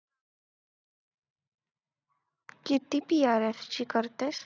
किती करतेस?